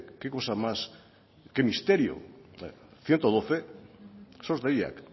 qué cosa más qué misterio ehun eta hamabi sos deiak